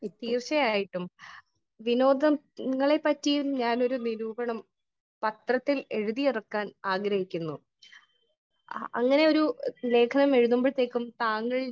Speaker 1 തീർച്ചയായിട്ടും . വിനോദങ്ങളെ പറ്റിയും ഞാൻ ഒരു നിരൂപണം പത്രത്തിൽ എഴുതി ഇറക്കാൻ ആഗ്രഹിക്കുന്നു . അങ്ങനെ ഒരു ലേഖനം എഴുതുമ്പോഴേക്കും താങ്കൾ